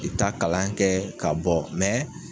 I bi taa kalan kɛ ka bɔ